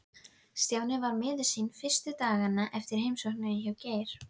Stjáni var miður sín fyrstu dagana eftir heimsóknina hjá Geir.